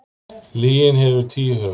Lygin hefur tíu höfuð.